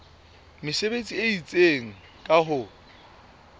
mesebetsi e itseng ka ho